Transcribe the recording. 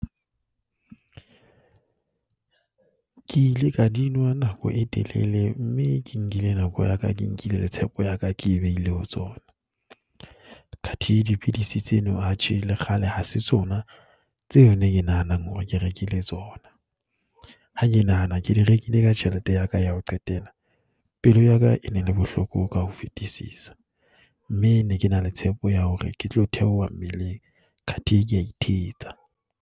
Ke ile ka di nwa nako e telele mme ke nkile nako ya ka, ke nkile le tshepo ya ka ke e behile ho tsona. Kathe dipidisi tsena, atjhe le kgale, ha se tsona tseo yona ke nahanang hore ke rekile tsona. Ha ke nahana ke di rekile ka tjhelete ya ka ya ho qetela, pelo ya ka e ne le bohloko ka ho fetisisa. Mme ne ke na le tshepo ya hore ke tlo theoha mmeleng kathe ke a ithetsa.